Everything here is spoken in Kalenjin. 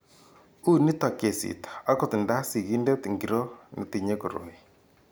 U nito kesit akot nda sigindet ngiro netinye koroi.